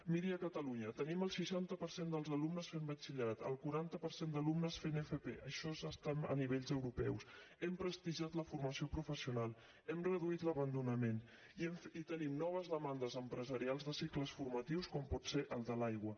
miri a catalunya tenim el seixanta per cent dels alumnes fent batxillerat el quaranta per cent d’alumnes fent fp això és estar a nivells europeus hem prestigiat la formació professional hem reduït l’abandonament i tenim noves demandes empresarials de cicles formatius com pot ser el de l’aigua